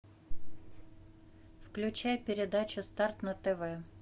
включай передачу старт на тв